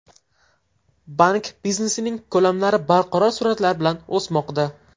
Bank biznesining ko‘lamlari barqaror sur’atlar bilan o‘smoqda.